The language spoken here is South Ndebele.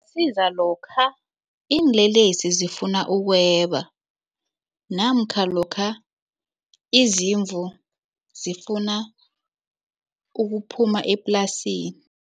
Isiza lokha iinlelesi zifuna ukweba namkha lokha izimvu zifuna ukuphuma eplasini.